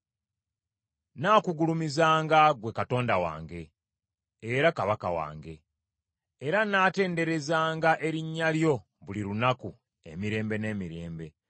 Nnaakugulumizanga ggwe Katonda wange, era Kabaka wange; era nnaatenderezanga erinnya lyo buli lunaku emirembe n’emirembe.